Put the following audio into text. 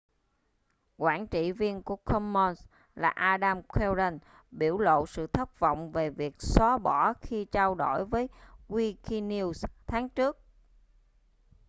quản trị viên của commons là adam cuerden biểu lộ sự thất vọng về việc xóa bỏ khi trao đổi với wikinews tháng trước